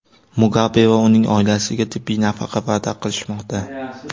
Mugabe va uning oilasiga tibbiy nafaqa va’da qilishmoqda.